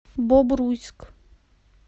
бобруйск